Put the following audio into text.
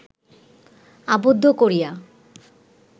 আবদ্ধ করিয়া